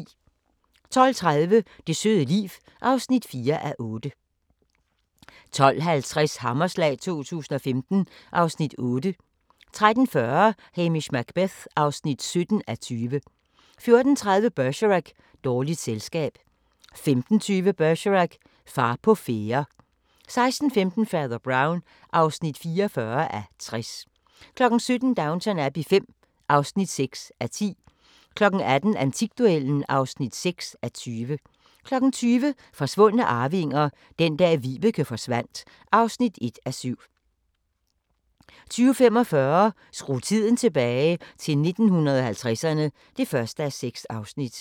12:30: Det søde liv (4:8) 12:50: Hammerslag 2015 (Afs. 8) 13:40: Hamish Macbeth (17:20) 14:30: Bergerac: Dårligt selskab 15:20: Bergerac: Far på færde 16:15: Fader Brown (44:60) 17:00: Downton Abbey V (6:10) 18:00: Antikduellen (6:20) 20:00: Forsvundne arvinger: Den dag Vibeke forsvandt (1:7) 20:45: Skru tiden tilbage – til 1950'erne (1:6)